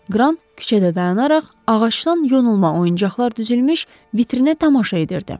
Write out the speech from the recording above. Qran küçədə dayanaraq ağacdan yonulma oyuncaqlar düzülmüş vitrinə tamaşa edirdi.